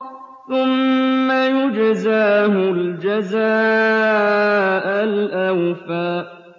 ثُمَّ يُجْزَاهُ الْجَزَاءَ الْأَوْفَىٰ